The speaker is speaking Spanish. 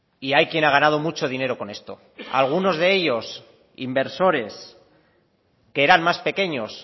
y hay quien ha ganado mucho dinero con esto algunos de ellos inversores que eran más pequeños